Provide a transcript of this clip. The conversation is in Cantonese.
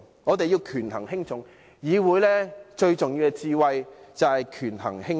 我們要權衡輕重，議會最重要的一種智慧就是權衡輕重。